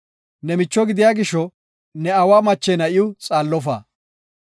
“Ne micho gidiya gisho ne aawa mache na7iw xaallofa.